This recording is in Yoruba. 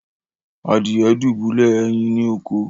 Adìye dubulẹ ẹyìn ni òkó.